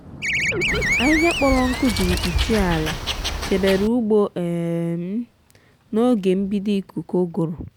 ahiha kpọrọ nkụ jiri kpuchie ala chebere ugbo um m n’oge mbido ikuku ụguru.